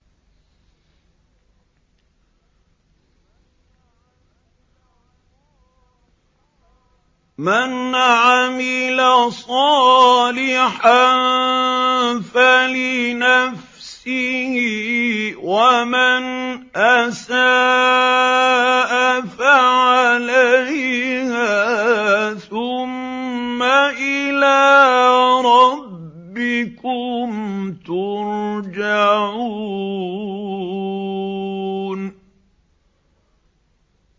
مَنْ عَمِلَ صَالِحًا فَلِنَفْسِهِ ۖ وَمَنْ أَسَاءَ فَعَلَيْهَا ۖ ثُمَّ إِلَىٰ رَبِّكُمْ تُرْجَعُونَ